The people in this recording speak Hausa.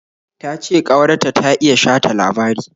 Ta ce ƙawar ta ta iya shata labari.